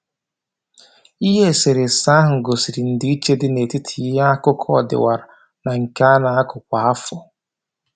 Ihe eserese ahụ gosiri ndị iche dị n'etiti ihe akụkụ ọdịwara na nke a na-akụ kwa afọ